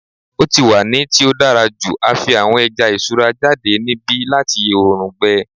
O ti wa ni ti o dara ju a fi awọn ẹja iṣura jade nibi lati oorun gbẹ